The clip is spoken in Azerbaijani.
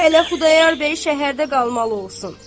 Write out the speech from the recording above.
Hələ Xudayar bəy şəhərdə qalmalı olsun.